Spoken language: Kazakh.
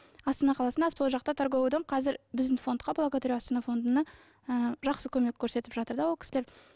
астана қаласында жақта торговый дом қазір біздің фондқа благодарю астана фондына ы жақсы көмек көрсетіп жатыр да ол кісілер